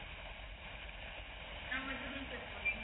நான் மட்டும்தான் sir போறேன்